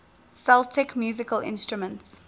celtic musical instruments